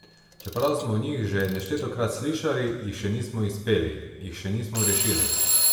Čeprav smo o njih že neštetokrat slišali, jih še nismo izpeli, jih še nismo rešili.